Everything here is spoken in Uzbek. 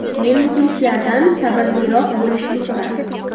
Men muxlislardan sabrliroq bo‘lishni so‘rardim.